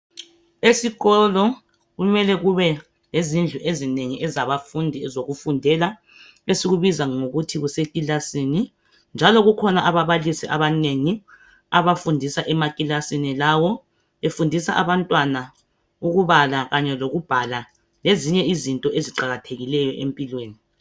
Esikolo kumele kube lezindlu ezinengi ezabafundi ezokufundela. Esikubiza ngokuthi kusekilasini, njalo kukhona ababalisi abanengi abafundisa emakilasini lawo. Befundisa abantwana ukubala kanye lokubhala. Lezinye izinto eziqakathekilyo empilweni.